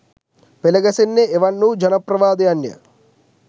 පෙළ ගැසෙන්නේ එවන් වූ ජනප්‍රවාදයන් ය.